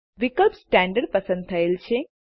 વિકલ્પ સ્ટેન્ડર્ડ પસંદ થયેલ છે